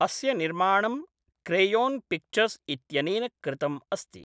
अस्य निर्माणं Crayon Pictures इत्यनेन कृतम् अस्ति।